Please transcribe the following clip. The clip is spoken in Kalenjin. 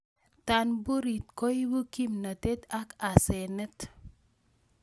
tanburit koibu kimnatet ak asenet